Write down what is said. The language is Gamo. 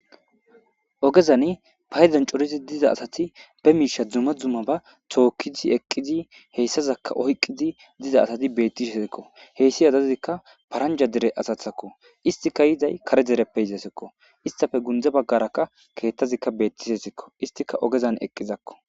ogezan payzan corizi diza asati be miisha dzuma dzuma ba tookkizi eqqizi heyssazakka oyqqidi diza asati bettishesekko heyssi adazikka paranja dere asathakko istika yiday kare dereppe yizasekko istafe gundza baggarakka keethtazikka beettishesekko istika ogezan eqqizakko